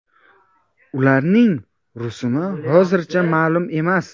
Ularning rusumi hozircha ma’lum emas.